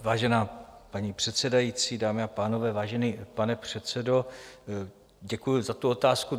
Vážená paní předsedající, dámy a pánové, vážený pane předsedo, děkuji za tu otázku.